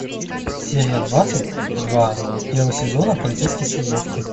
серия двадцать два первого сезона полицейский с рублевки